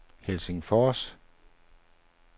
Helsingfors